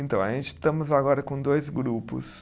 Então, a gente estamos agora com dois grupos.